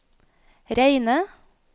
reine